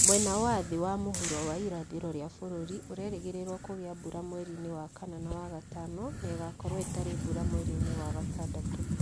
Mwena wa thĩ wa mũhuro wa irathĩro ya bũrũri ũrerĩgĩrĩrũo kũgĩa mbura mweri-inĩ wa kana na wa gatano na ĩgaakorũo ĩtarĩ mbura mweri-inĩ wa gatadatũ.